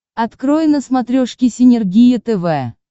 открой на смотрешке синергия тв